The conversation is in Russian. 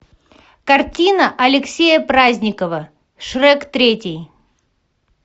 картина алексея праздникова шрек третий